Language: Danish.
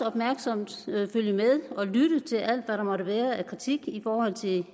opmærksomt med og lytte til alt hvad der måtte være af kritik i forhold til